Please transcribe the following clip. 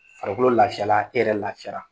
Farikolo lafiyala, e yɛrɛ lafiyara